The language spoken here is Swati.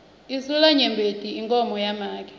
insulamnyembeti inkhomo yamake